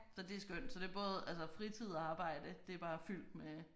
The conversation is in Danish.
Så det er skønt så det er både altså fritid og arbejde det er bare fyldt med